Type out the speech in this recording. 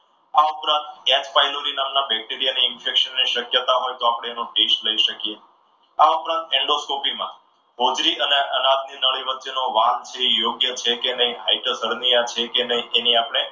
આ ઉપરાંત gas નામના bacteria ની infection શક્યતા હોય તો આપણે એનો test લઈ શકીએ. આ ઉપરાંત એન્ડોસ્કોપીમાં હોજરી અને અનાજની નળી વચ્ચેનો વાલ છે એ યોગ્ય છે કે હાઈટર ફરમિયા છે કે નહીં એની આપણે